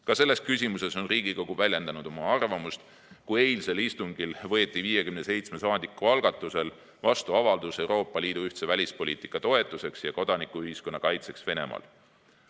Ka selles küsimuses on Riigikogu väljendanud oma arvamust: eilsel istungil võeti 57 saadiku algatusel vastu avaldus "Euroopa Liidu ühtse välispoliitika toetuseks ja kodanikuühiskonna kaitseks Venemaal".